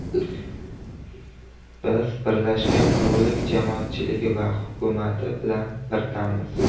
Biz Birlashgan Qirollik jamoatchiligi va hukumati bilan birdammiz”.